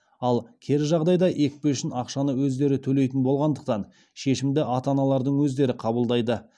ал кері жағдайда екпе үшін ақшаны өздері төлейтін болғандықтан шешімді ата аналардың өздері қабылдайды